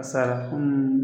A sara,